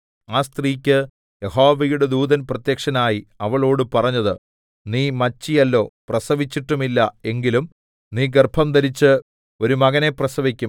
ആ സ്ത്രീക്ക് യഹോവയുടെ ദൂതൻ പ്രത്യക്ഷനായി അവളോട് പറഞ്ഞത് നീ മച്ചിയല്ലോ പ്രസവിച്ചിട്ടുമില്ല എങ്കിലും നീ ഗർഭംധരിച്ച് ഒരു മകനെ പ്രസവിക്കും